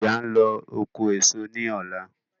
Ìyá ń lọ oko èso ní ọ̀la